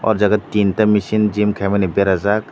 aw jaga tinta misin gym khaima ni berajaak.